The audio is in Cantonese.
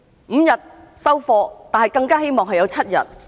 五天"收貨"，但更加希望有7天。